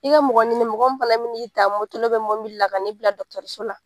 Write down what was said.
I ka mɔgɔ ɲini mɔgɔ min fana mi n'i ta moto la mɔbili la ka n'i bila dɔgɔtɔrɔliso la.